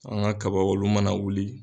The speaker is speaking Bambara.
An ga kabaw olu mana wuli